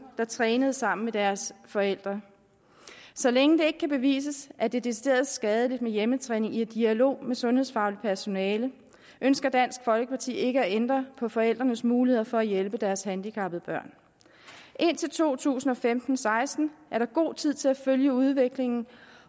der trænede sammen med deres forældre så længe det ikke kan bevises at det er decideret skadeligt med hjemmetræning i en dialog med sundhedsfagligt personale ønsker dansk folkeparti ikke at ændre på forældrenes muligheder for at hjælpe deres handicappede børn indtil to tusind og femten til seksten er der god tid til at følge udviklingen